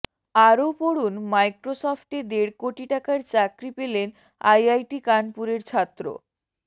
আরও পড়ুন মাইক্রোসফটে দেড় কোটি টাকার চাকরি পেলেন আইআইটি কানপুরের ছাত্র